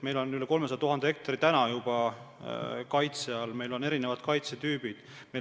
Meil on üle 300 000 hektari juba praegu kaitse all, meil on erinevad kaitsetüübid.